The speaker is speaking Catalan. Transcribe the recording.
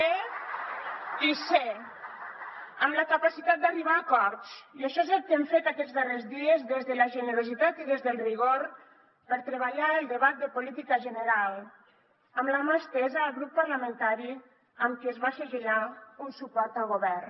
fer i ser amb la capacitat d’arribar a acords i això és el que hem fet aquests darrers dies des de la generositat i des del rigor per treballar el debat de política general amb la mà estesa al grup parlamentari amb qui es va segellar un suport al govern